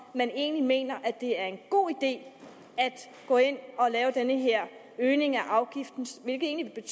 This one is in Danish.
man egentlig mener at det er en god idé at gå ind at lave den her øgning af afgiften hvilket egentlig